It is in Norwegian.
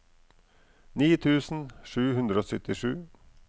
ni tusen sju hundre og syttisju